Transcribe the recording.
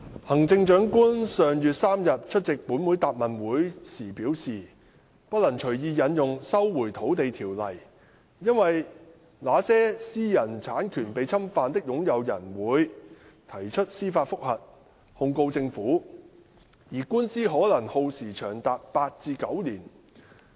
行政長官於上月3日出席本會答問會時表示，不能隨意引用《收回土地條例》，因為"那些私有產權被侵犯的擁有人會......提出司法覆核控告政府"，而官司可耗時長達八至九年。